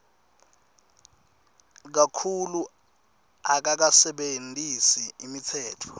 kakhulu akakasebentisi imitsetfo